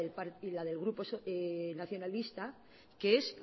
del grupo nacionalista que es